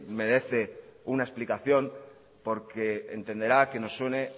merece una explicación porque entenderá que nos suene